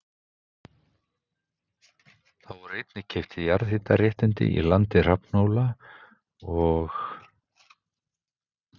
Þá voru einnig keypt jarðhitaréttindi í landi Hrafnhóla og